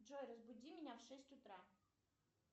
джой разбуди меня в шесть утра